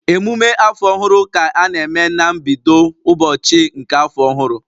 Emume afọ ọhụrụ ka a na-eme na mbido ụbọchị nke afọ ọhụrụ